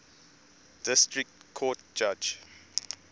district court judge